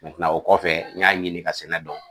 o kɔfɛ n y'a ɲini ka senna dɔn.